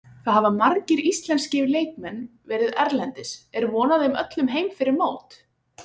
Það hafa margir íslenski leikmenn verið erlendis, er von á þeim öllum heim fyrir mót?